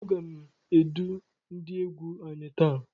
A gá m edu ndị égwu anyị taa.